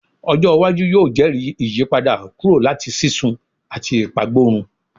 Ojo iwaju yoo jẹri iyipada kuro lati sisun ati ipagborun